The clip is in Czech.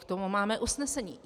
K tomu máme usnesení.